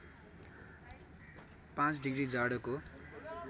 ५ degree जाडोको